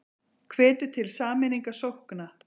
Hvetur til sameiningar sókna